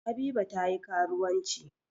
Habiba ta yi karuwanci.